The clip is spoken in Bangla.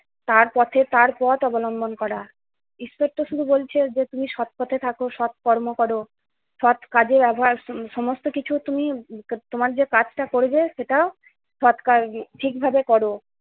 তার পথে তার পথ অবলম্বন করা। ঈশ্বর তো শুধু বলছে যে তুমি সৎ পথে থাকো, সৎকর্ম করো, সৎ কাজের আভাস, সমস্ত কিছু তুমি, তোমার যে কাজটা করবে সেটা সবটা আরকি ঠিকভাবে করো।